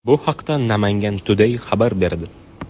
Bu haqda Namangan Today xabar berdi .